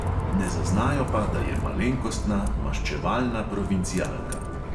Ne zaznajo pa, da je malenkostna, maščevalna provincialka.